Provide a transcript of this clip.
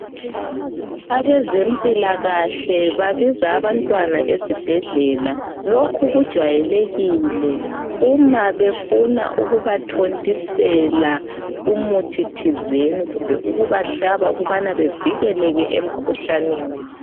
Abezempilakahle babiza abantwana esibhedlela lokhu kujwayelekile uma befuna ukubathontisela umuthithizeni kumbe ukubahlaba ukubana bevikeleke emkhuhlaneni.